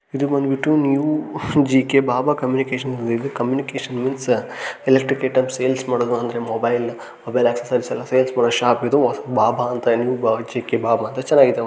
ಇದು ಬಂದ್ಬಿಟ್ಟು new G K Baba communications ಅಂತ ಹೇಳ್ಬಿಟ್ಟು communications means electric items sales ಮಾಡೋದು ಅಂದ್ರೆ ಮೊಬೈಲ್ ಮೊಬೈಲ್ ಅಚ್ಛೇಸ್ಸೋರಿಸ್ ಎಲ್ಲ ಸೇಲ್ಸ್ ಮಾಡೋ ಶಾಪ್ ಇದೆ ಬಾಬಾ ಅಂತ ಜಿ.ಕೆ ಬಾಬಾ ಅಂತ ಚೆನ್ನಾಗಿದೆ .